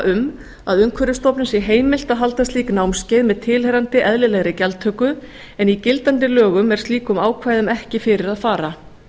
um að umhverfisstofnun sé heimilt að halda slík námskeið með tilheyrandi eðlilegri gjaldtöku en í gildandi lögum er slíkum ákvæðum ekki fyrir að fara